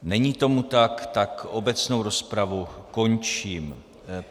Není tomu tak, tak obecnou rozpravu končím.